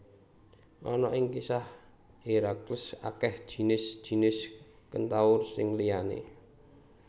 Ana ing kisah Herakles akeh jinis jinis kentaur sing liyané